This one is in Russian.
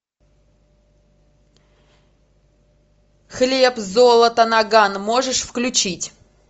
хлеб золото наган можешь включить